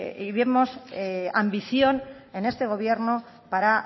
ni vemos ambición en este gobierno para